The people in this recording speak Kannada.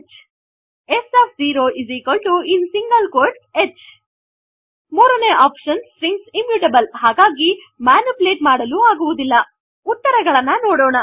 ಹಾಗಾಗಿ s of 0 H s of 0in single quotes h ಮೂರನೇ ಒಪ್ಶನ್ ಸ್ಟ್ರಿಂಗ್ಸ್ ಇಮ್ಯೂಟಬಲ್ ಹಾಗಾಗಿ ಮ್ಯಾನಿಪುಲೇಟ್ ಮಾಡಲು ಆಗುವುದಿಲ್ಲ ಉತ್ತರ ಗಳನ್ನು ನೋಡೋಣ